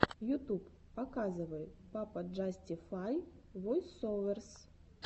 ютуб показывай пападжастифай войсоверс